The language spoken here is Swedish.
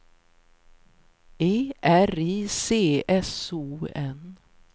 E R I C S O N